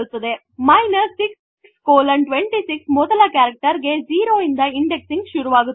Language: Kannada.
| |626 | ಮೊದಲ ಕರೆಕ್ಟೆರ್ ಗೆ 0ಇಂದ ಇಂಡೆಕ್ಸಿಂಗ್ ಶುರುವಾಗುತ್ತದೆ